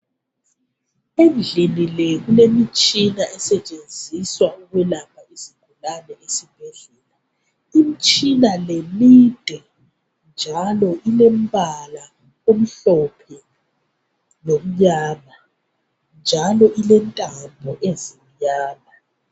Endlini le kulemitshina esetshenziswa ukwelapha izigulane esibhedlela. Imtshina le mide njalo ilembala emhlophe lomnyama, njalo ilentambo ezimnyama.